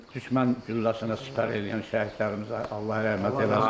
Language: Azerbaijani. Düşmən gülləsinə sipər eləyən şəhidlərimizə Allah rəhmət eləsin.